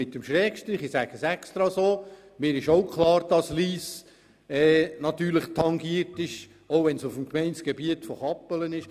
Ich sage das absichtlich so, denn mir ist auch klar, dass Lyss selbstverständlich tangiert ist davon, auch wenn sich das Zentrum auf dem Gemeindegebiet von Kappelen befindet.